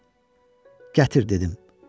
Gətir, dedim.